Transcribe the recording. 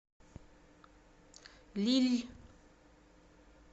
лилль